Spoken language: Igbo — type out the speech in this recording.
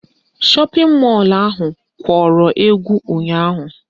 Shọpịn mọlụ ahụ kworo ekwo ụnyaahụ